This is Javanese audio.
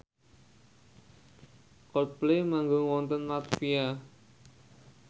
Coldplay manggung wonten latvia